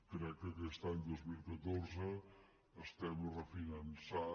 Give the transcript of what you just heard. crec que aquest any dos mil catorze estem refinançant